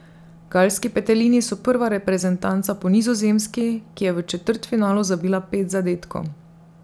Galski petelini so prva reprezentanca po Nizozemski, ki je v četrtfinalu zabila pet zadetkov.